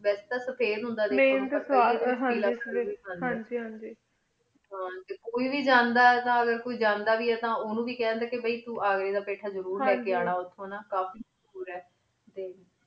ਵਾਸੀ ਟੀ ਸਫਿਦ ਹੁੰਦਾ ਸੇ ਹਨ ਜੀ ਹਨ ਜੀ ਹਨ ਕੋਈ ਵੇ ਜਾਂਦਾ ਅਗੇਰ ਕੋਈ ਜਾਂਦਾ ਵੇ ਆਯ ਉਨੂ ਵੇ ਖ੍ਦ੍ਯਨ ਕੀ ਅਘੀ ਦਾ ਪੀਠਾ ਜ਼ਰੁਰ ਲੀ ਕੀ ਅਨਾ ਉਠਉਣ ਨਾ ਹਨ ਜੀ ਕਾਫੀ ਦੁਰ ਆਯ